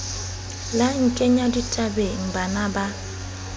la nkenya ditabeng bana ba